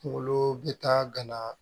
Kungolo bɛ taa gana